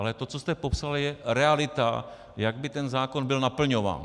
Ale to, co jste popsal, je realita, jak by ten zákon byl naplňován.